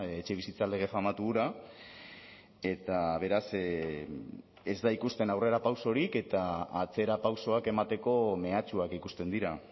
etxebizitza lege famatu hura eta beraz ez da ikusten aurrerapausorik eta atzerapausoak emateko mehatxuak ikusten dira